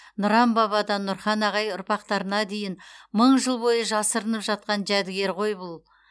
нұран бабадан нұрхан ағай ұрпақтарына дейін мың жыл бойы жасырынып жатқан жәдігер ғой бұл